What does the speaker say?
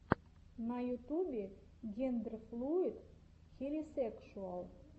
на ютубе гендерфлуид хелисекшуал